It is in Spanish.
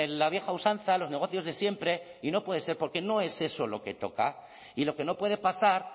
la vieja usanza los negocios de siempre y no puede ser porque no es eso lo que toca y lo que no puede pasar